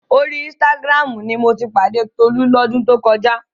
Orí Instagram ni mo ti pàdé Tolú lọ́dún tó kọjá.